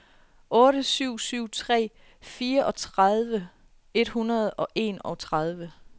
otte syv syv tre fireogtredive et hundrede og enogtredive